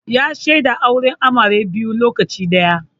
Ya shaida auren amare biyu lokaci ɗaya